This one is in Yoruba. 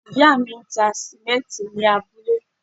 Ìyá mi ń ta sìmẹ́ǹtì ní abúlé.